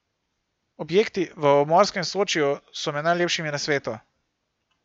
Objekti v obmorskem Sočiju so med najlepšimi na svetu.